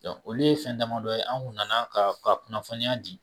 olu ye fɛn damadɔ ye an tun nana ka kunnafoniya di